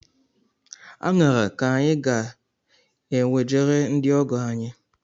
Aṅara ka anyị ga enwejere ndị ọgọ anyi